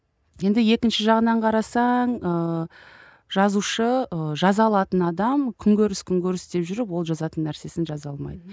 енді екінші жағынан қарасаң ыыы жазушы ы жаза алатын адам күнкөріс күнкөріс деп жүріп ол жазатын нәрсесін жаза алмайды